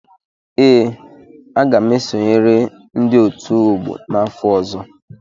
Ee, aga m esonyere ndị otu ọgbọ n'afọ ọzọ.